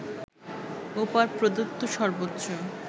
ওপর প্রদত্ত সর্বোচ্চ